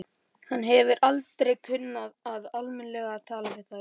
Hann hefur aldrei kunnað almennilega að tala við þær.